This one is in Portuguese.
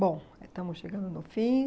Bom, estamos chegando no fim.